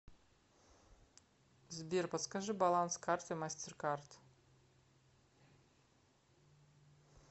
сбер подскажи баланс карты мастеркард